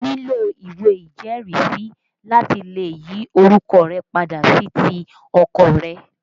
O nílò ìwé ìjẹ́rìísí láti lè yí orúkọ rẹ padà sí ti ọkọ rẹ